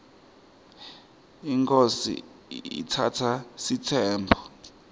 inkhosi iatsatsa sitsembu